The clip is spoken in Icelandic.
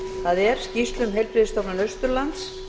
það er skýrslu um heilbrigðisstofnun austurlands